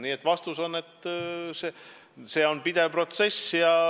Nii et vastus on, et see on pidev protsess.